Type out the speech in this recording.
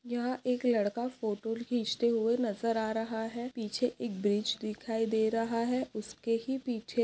यहाँ एक लड़का फोटो खिचते हुए नज़र आ रहा है पीछे एक ब्रिज दिखाई दे रहा है उसके ही पीछे--